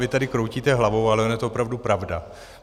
Vy tady kroutíte hlavou, ale ona je to opravdu pravda.